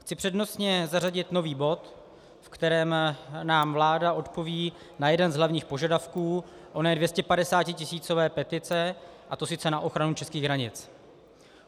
Chci přednostně zařadit nový bod, v kterém nám vláda odpoví na jeden z hlavních požadavků oné 250tisícové petice, a to sice na ochranu českých hranic.